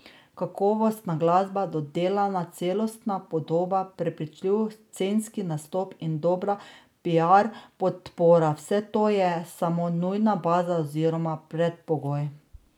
Kakovostna glasba, dodelana celostna podoba, prepričljiv scenski nastop in dobra piar podpora, vse to je samo nujna baza oziroma predpogoj.